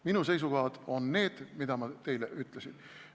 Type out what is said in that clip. Minu seisukohad on need, mis ma teile ütlesin.